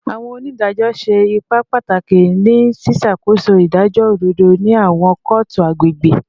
Awọn onidajọ ṣe ipa pataki ni ṣiṣakoso idajọ ododo ni awọn kootu agbegbe